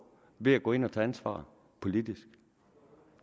ved at gå ind og tage ansvar politisk